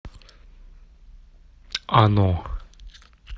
оно